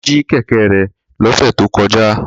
Wọ́n jí kẹ̀kẹ́ rẹ̀ lọ́sẹ̀ tó kọjá